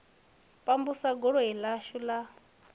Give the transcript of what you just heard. pambusa godoni ḽashu la u